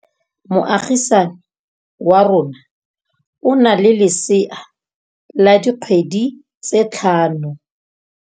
Moagisane wa rona o na le lesea la dikgwedi tse tlhano.